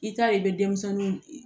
I ta ye i bɛ denmisɛnnin